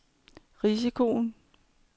risikoen